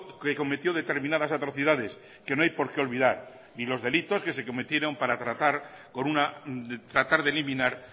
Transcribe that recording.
que cometió determinadas atrocidades que no hay porque olvidar ni los delitos que se cometieron para tratar de eliminar